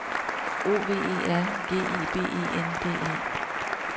O V E R G R I B E N D E